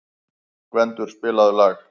Gvendur, spilaðu lag.